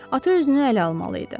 Ata özünü ələ almalı idi.